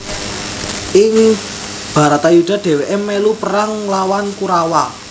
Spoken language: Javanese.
Ing Bharatayuddha dheweke melu perang nglawan Kurawa